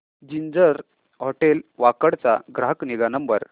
ginger hotel Wakad चा ग्राहक निगा नंबर